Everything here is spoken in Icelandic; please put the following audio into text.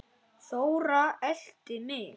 Þóra elti mig.